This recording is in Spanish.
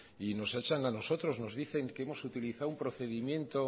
y nos echan a nosotros nos dicen que hemos utilizado un procedimiento